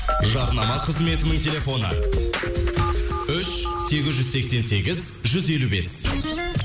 жарнама қызметінің телефоны үш сегіз жүз сексен сегіз жүз елу бес